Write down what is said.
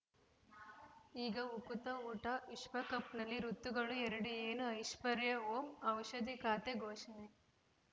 ಈಗ ಉಕುತ ಊಟ ವಿಶ್ವಕಪ್‌ನಲ್ಲಿ ಋತುಗಳು ಎರಡು ಏನು ಐಶ್ವರ್ಯಾ ಓಂ ಔಷಧಿ ಖಾತೆ ಘೋಷಣೆ